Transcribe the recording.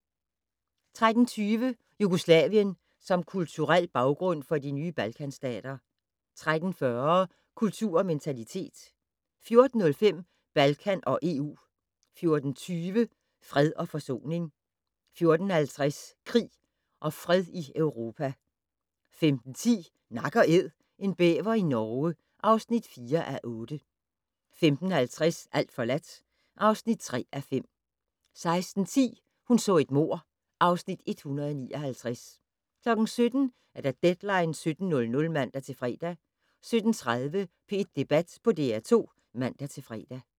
13:20: Jugoslavien som kulturel baggrund for de nye Balkanstater 13:40: Kultur og Mentalitet 14:05: Balkan og EU 14:20: Fred og forsoning 14:50: Krig og Fred i Europa 15:10: Nak & Æd - en bæver i Norge (4:8) 15:50: Alt forladt (3:5) 16:10: Hun så et mord (Afs. 159) 17:00: Deadline 17.00 (man-fre) 17:30: P1 Debat på DR2 (man-fre)